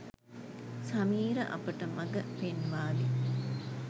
සමීර අපට මගපෙන්වාවි.